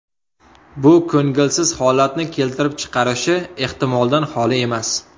Bu ko‘ngilsiz holatni keltirib chiqarishi ehtimoldan xoli emas.